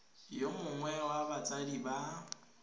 yo mongwe wa batsadi ba